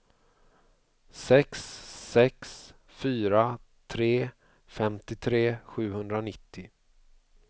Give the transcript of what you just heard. sex sex fyra tre femtiotre sjuhundranittio